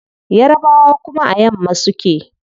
Yarbawa kuma a yamma suke